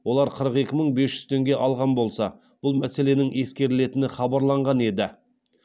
олар қырық екі мың бес жүз теңге алған болса бұл мәселенің ескерілетіні хабарланған еді